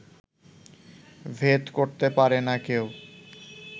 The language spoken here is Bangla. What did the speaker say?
ভেদ করতে পারে না কেউ